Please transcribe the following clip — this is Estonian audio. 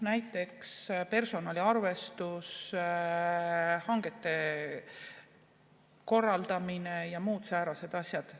Näiteks, personaliarvestus, hangete korraldamine ja muud säärased asjad.